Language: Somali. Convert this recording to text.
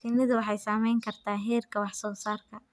Shinnidu waxay saamayn kartaa heerka wax soo saarka.